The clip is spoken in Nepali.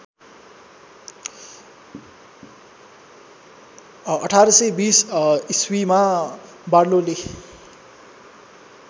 १८२० ईस्वीमा बार्लोले